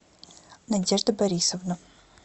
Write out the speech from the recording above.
надежда борисовна